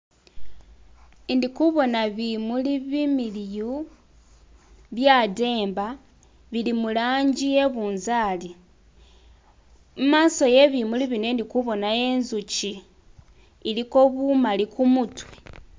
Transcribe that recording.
Indikubona bimuli bimiliyu byademba bili mulanji iyebunzali. Imaso yebimuli bino indikubonayo inzuki iliko bumali kumutwe.